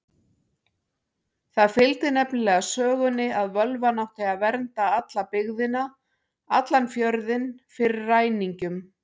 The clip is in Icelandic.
Það fylgdi nefnilega sögunni að völvan átti að vernda alla byggðina, allan fjörðinn, fyrir ræningjum.